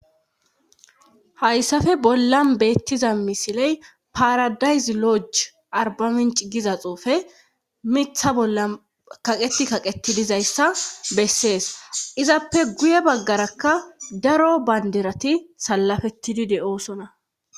hayssafe bollan beettiza misiley paradayzi loji arbaminci giza xuufe mitha bolla kaqeti kaqeti dizayssa bessees izappe guye baggarakka daro banderati salafettidi de7oosona